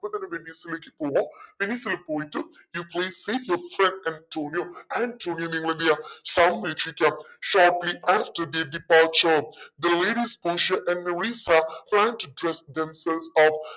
ഇപ്പൊ തന്നെ വെനീസിലേക്ക് പോവ്വാ വെനീസിൽ പോയിട്ട് you please save your friend Antonio. ആൻറ്റോണിയോയെ നിങ്ങളെന്തെയ്യ സംരക്ഷിക്ക departure the ladies പോഷിയ and മെറിസ themselves off